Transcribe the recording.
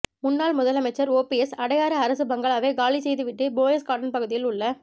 முன்னாள் முதலமைச்சர் ஓபிஎஸ் அடையாறு அரசு பங்களாவை காலி செய்து வீட்டு போயஸ் கார்டன் பகுதியில் உள்ள